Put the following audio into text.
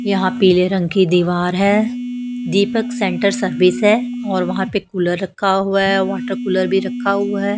यहां पीले रंग की दीवार है दीपक सेंटर सर्विस है और वहां पे कूलर रखा हुआ है वाटर कूलर भी रखा हुआ है।